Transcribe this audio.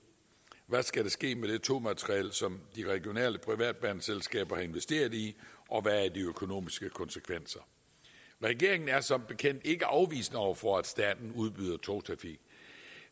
hvad skal der ske med det togmateriel som de regionale privatbaneselskaber har investeret i og hvad er de økonomiske konsekvenser regeringen er som bekendt ikke afvisende over for at staten udbyder togtrafik